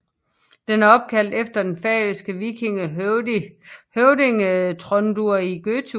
Den er opkaldt efter den færøske vikingehøvding Tróndur í Gøtu